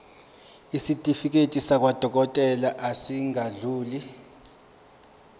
isitifiketi sakwadokodela esingadluli